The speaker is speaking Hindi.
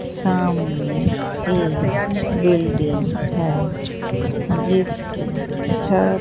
सामने एक बिल्डिंग है जिसकी छत--